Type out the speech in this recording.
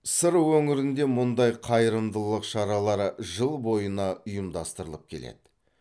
сыр өңірінде мұндай қайырымдылық шаралары жыл бойына ұйымдастырылып келді